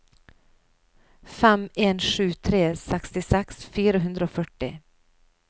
fem en sju tre sekstiseks fire hundre og førti